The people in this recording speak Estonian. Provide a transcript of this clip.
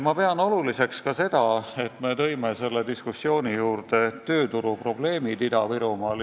Ma pean oluliseks ka seda, et me tõime sellesse diskussiooni tööturuprobleemid Ida-Virumaal.